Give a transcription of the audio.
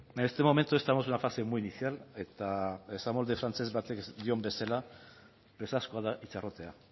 en este momento estamos en una fase muy inicial eta presazkoa da